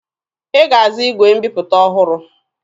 Ị ga-azụ igwe mbiputa ọhụrụ!